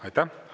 Aitäh!